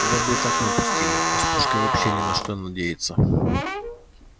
тебя бы и так не пустили а с пушкой вообще не на что надеяться